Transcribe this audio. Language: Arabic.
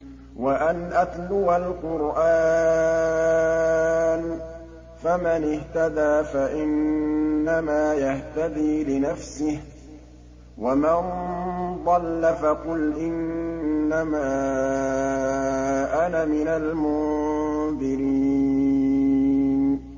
وَأَنْ أَتْلُوَ الْقُرْآنَ ۖ فَمَنِ اهْتَدَىٰ فَإِنَّمَا يَهْتَدِي لِنَفْسِهِ ۖ وَمَن ضَلَّ فَقُلْ إِنَّمَا أَنَا مِنَ الْمُنذِرِينَ